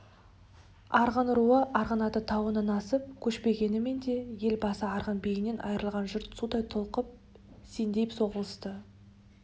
арғын руы арғынаты тауынан асып көшпегенімен де ел басы арғын биінен айырылған жұрт судай толқып сеңдей соғылысты